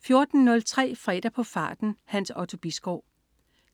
14.03 Fredag på farten. Hans Otto Bisgaard